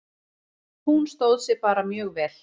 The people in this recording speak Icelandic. Hún stóð sig bara mjög vel.